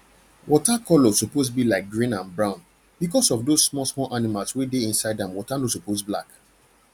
water color suppose be like like green and brown because of those small small animal wey dey inside am water no suppose black